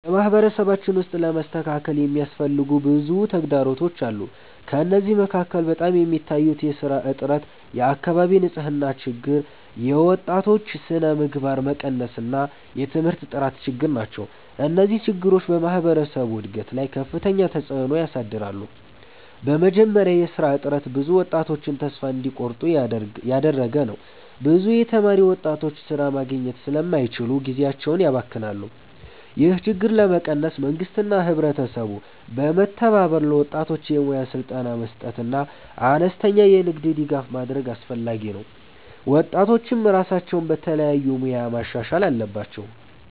በማህበረሰባችን ውስጥ ለመስተካከል የሚያስፈልጉ ብዙ ተግዳሮቶች አሉ። ከእነዚህ መካከል በጣም የሚታዩት የሥራ እጥረት፣ የአካባቢ ንፅህና ችግር፣ የወጣቶች ስነምግባር መቀነስ እና የትምህርት ጥራት ችግር ናቸው። እነዚህ ችግሮች በማህበረሰቡ እድገት ላይ ከፍተኛ ተፅዕኖ ያሳድራሉ። በመጀመሪያ የሥራ እጥረት ብዙ ወጣቶችን ተስፋ እንዲቆርጡ እያደረገ ነው። ብዙ የተማሩ ወጣቶች ሥራ ማግኘት ስለማይችሉ ጊዜያቸውን ያባክናሉ። ይህን ችግር ለመቀነስ መንግስትና ህብረተሰቡ በመተባበር ለወጣቶች የሙያ ስልጠና መስጠትና አነስተኛ የንግድ ድጋፍ ማድረግ አስፈላጊ ነው። ወጣቶችም ራሳቸውን በተለያዩ ሙያዎች ማሻሻል አለባቸው።